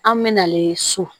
An mɛna so